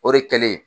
O de kɛlen